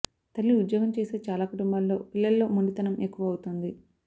తల్లి ఉద్యోగం చేసే చాలా కుటుంబాల్లో పిల్లల్లో మొండితనం ఎక్కువ అవుతోంది